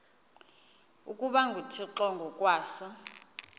ukuba nguthixo ngokwaso